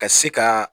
Ka se ka